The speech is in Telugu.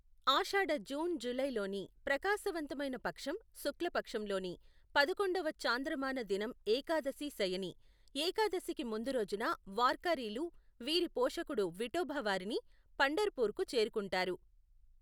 ఆషాఢ జూన్ జూలై లోని ప్రకాశవంతమైన పక్షం శుక్ల పక్షం లోని పదకొండవ చాంద్రమాన దినం ఏకాదశి శయనీ, ఏకాదశికి ముందు రోజున వార్కారీలు వీరి పోషకుడు విఠోబా వారీని పంఢర్ పూర్కు చేరుకుంటారు.